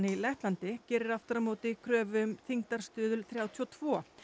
í Lettlandi gerir aftur á móti kröfu um þyngdarstuðul þrjátíu og tvö